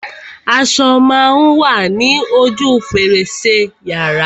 Aṣo má a wa ní ojú fèrèsé yàrá.